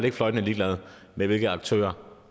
er fløjtende ligeglad med hvilke aktører